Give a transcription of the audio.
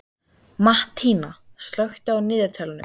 Mattína, slökktu á niðurteljaranum.